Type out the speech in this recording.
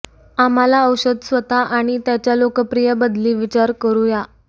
आम्हाला औषध स्वतः आणि त्याच्या लोकप्रिय बदली विचार करू या